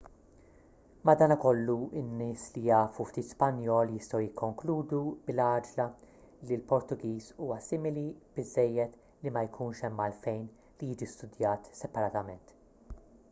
madankollu in-nies li jafu ftit spanjol jistgħu jikkonkludu bil-għaġla li l-portugiż huwa simili biżżejjed li ma jkunx hemm għalfejn li jiġi studjat separatament